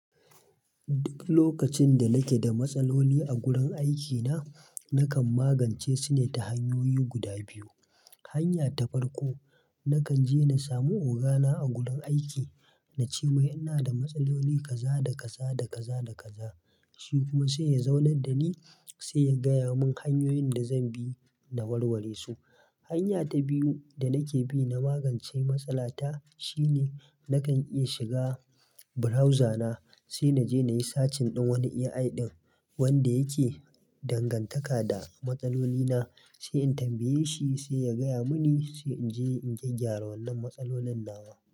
Duk lokacin da nake da matsaloli a gurin aikina, nakan magance su ne ta hanyoyi guda biyu. Hanya ta farko, nakan je na samu ogana a gurin aiki na ce mai ina da matsaloli kaza da kaza da kaza da kaza. Shi kuma sai ya zaunar da ni, sai ya gaya mun hanyoyin da zan bi na warware su. Hanya ta biyu da nake bi na magance matsala ta, shine nakan iya shiga browser na, sai na je na yi searching din wani AI ɗin wanda yake dangantaka da matsalolini na, sai in tambaye shi sai ya gaya mini, sai in je in gyaggara wannan matsalolin nawa.